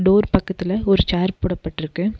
போர் பக்கத்துல ஒரு சேர் போடப்பட்ருக்கு.